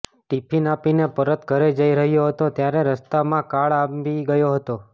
tiffin આપીને પરત ઘરે જઈ રહ્યો હતો ત્યારે રસ્તામાં કાળ આંબી ગયો હતો